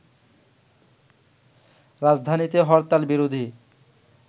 রাজধানীতে হরতাল বিরোধী